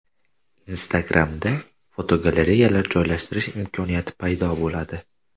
Instagram’da fotogalereyalar joylashtirish imkoniyati paydo bo‘ladi.